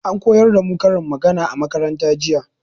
An koyar da mu karin magana a makaranta jiya.